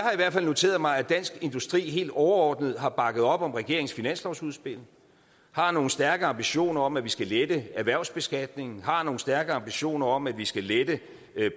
fald noteret mig at dansk industri helt overordnet har bakket op om regeringens finanslovsudspil har nogle stærke ambitioner om at vi skal lette erhvervsbeskatningen har nogle stærke ambitioner om at vi skal lette